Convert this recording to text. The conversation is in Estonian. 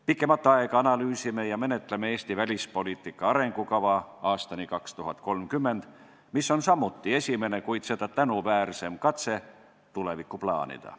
Pikemat aega oleme analüüsinud ja menetlenud Eesti välispoliitika arengukava aastani 2030, mis on samuti esimene, kuid seda tänuväärsem katse tulevikku plaanida.